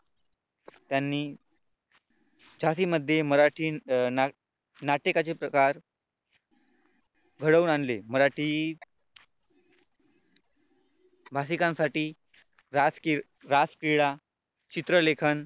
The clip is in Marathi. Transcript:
त्यांनी झाशीमध्ये मराठी अं नाटकाचे प्रकार घडवून आणले मराठी भाषिकांसाठी, राजकीय रासक्रीडा, चित्रलेखन